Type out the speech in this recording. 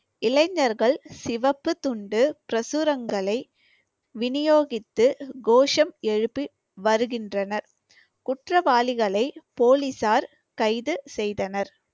இளைஞர்கள் சிவப்புத் துண்டு பிரசுரங்களை விநியோகித்து கோஷம் எழுப்பி வருகின்றனர். குற்றவாளிகளை போலீசார் கைது செய்தனர்.